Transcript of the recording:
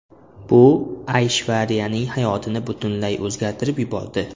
Bu Ayshvariyaning hayotini butunlay o‘zgartirib yubordi.